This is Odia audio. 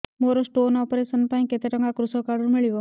ମୋର ସ୍ଟୋନ୍ ଅପେରସନ ପାଇଁ କେତେ ଟଙ୍କା କୃଷକ କାର୍ଡ ରୁ ମିଳିବ